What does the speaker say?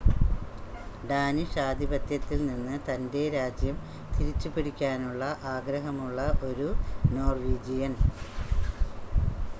Danish ആധിപത്യത്തിൽ നിന്ന് തൻ്റെ രാജ്യം തിരിച്ചുപിടിക്കാനുള്ള ആഗ്രഹമുള്ള ഒരു നോർവീജിയൻ